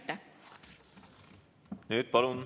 Aitäh!